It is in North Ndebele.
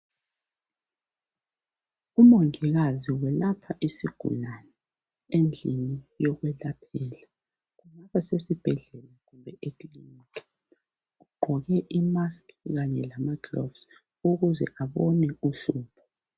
Umongikazi welapha isigulane endlini yokwelaphela basesibhedlela kumbe ekilinika bagqoke ama musk kanye lamagilovisi ukuze babone uhlupho.